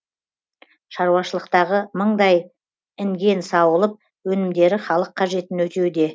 шаруашылықтағы мыңдай інген сауылып өнімдері халық қажетін өтеуде